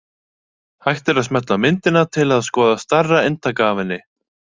Hægt er að smella á myndina til að skoða stærra eintak af henni.